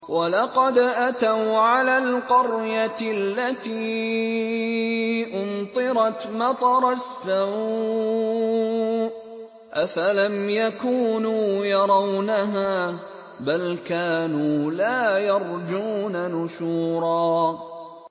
وَلَقَدْ أَتَوْا عَلَى الْقَرْيَةِ الَّتِي أُمْطِرَتْ مَطَرَ السَّوْءِ ۚ أَفَلَمْ يَكُونُوا يَرَوْنَهَا ۚ بَلْ كَانُوا لَا يَرْجُونَ نُشُورًا